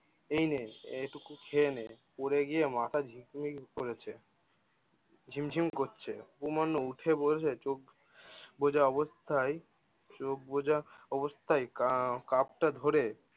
এইনে এইটুকু খেয়ে নে, পরে গিয়ে মাথা ঝিমঝিম করছে। উপমান্য উঠে বলছে চোখ বোঝা অবস্থায় চোখ বোঝা অবস্থায় আহ কাপটা ধরে-